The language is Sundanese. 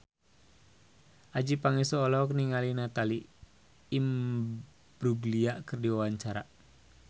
Adjie Pangestu olohok ningali Natalie Imbruglia keur diwawancara